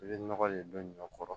I bɛ nɔgɔ de don ɲɔ kɔrɔ